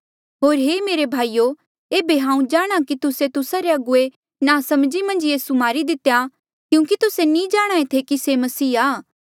होर हे मेरे भाईयो एेबे हांऊँ जाणहां कि तुस्से होर तुस्सा रे अगुवे नासमझी मन्झ यीसू मारी दितेया क्यूंकि तुस्से नी जाणहां ऐें कि से मसीहा आ